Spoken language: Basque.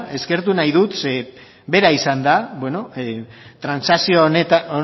eskertu nahi dut zeren bera izan da transakzio honen